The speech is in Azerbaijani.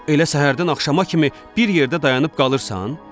Elə səhərdən axşama kimi bir yerdə dayanıb qalırsan?